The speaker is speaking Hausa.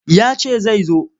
Ya ce zai zo.